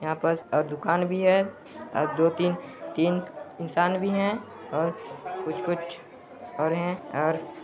यहाँ पास और दुकान भी हैं और दो-तीन तीन इंसान भी हैं और कुछ-कुछ और हैं और--